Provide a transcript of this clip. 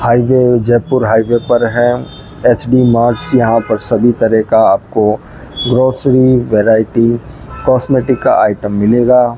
Highway Jaipur highway पर है। HD marts यहां पर सभी तरह का आपको ग्रोसरी वैरायटी कॉस्मेटिक का आइटम मिलेगा।